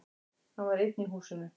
Hann var einn í húsinu.